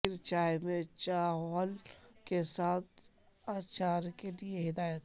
کثیر چائے میں چاول کے ساتھ اچار کے لئے ہدایت